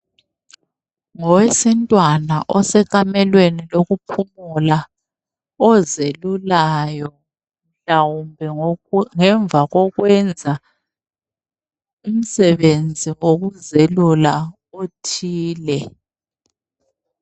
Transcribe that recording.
Ngowesintwana osekamelweni lokuphumula ozelulayo, ngemva kokwenza umsebenzi wokuzelula othile.